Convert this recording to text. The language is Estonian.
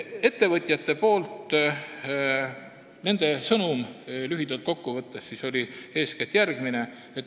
Ettevõtjate sõnum lühidalt kokku võttes oli eeskätt järgmine.